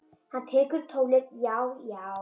Hann tekur upp tólið: Já, já.